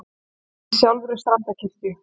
Í sjálfri Strandarkirkju.